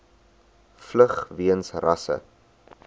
vlug weens rasse